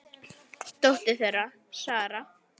Dóttir þeirra: Sara.